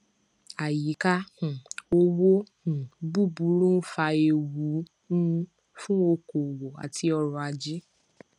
àyíká um òwò um búburú ń fa ewu um fún okòòwò àti ọrọ ajé